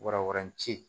Warawarancɛ